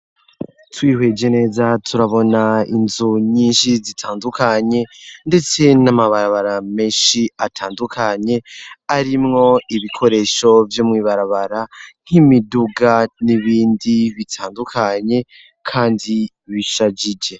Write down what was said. Twihweje neza turabona inzu nyinshi zitandukanye, ndetse n'amabarabara meshi atandukanye arimwo ibikoresho vyumwibarabara nk'imiduga n'ibindi bitandukanye, kandi bishajije.